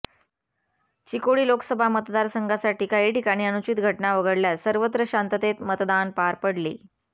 चिकोडी लोकसभा मतदारसंघासाठी काही ठिकाणी अनूचित घटना वगळल्यास सर्वत्र शांततेत मतदान पार पडले